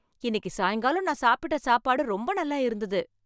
இன்னிக்கு சாயங்காலம் நான் சாப்பிட்ட சாப்பாடு ரொம்ப நல்லா இருந்தது.